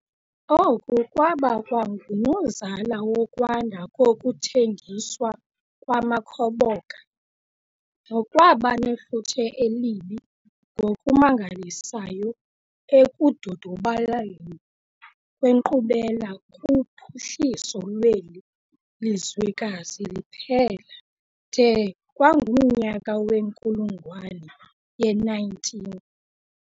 Oku kwabakwangunozala wokwanda kokuthengiswa kwamakhoboka, nokwaba nefuthe elibi ngokumangalisayo ekudodobaleni kwenkqubela kuphuhliso lweli lizwekazi liphela de kwangumnyaka wenkulungwane ye-19.